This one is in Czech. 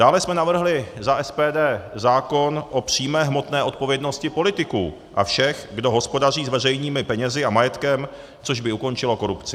Dále jsme navrhli za SPD zákon o přímé hmotné odpovědnosti politiků a všech, kdo hospodaří s veřejnými penězi a majetkem, což by ukončilo korupci.